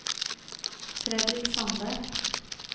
Fredrik Sande